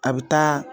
A bɛ taa